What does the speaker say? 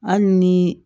Hali ni